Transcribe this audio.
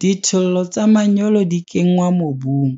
Dithollo tsa manyolo di kenngwa mobung,